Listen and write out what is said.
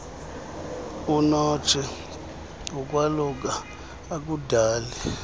unotshei ukwaluka akudali